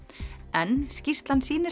en skýrslan sýnir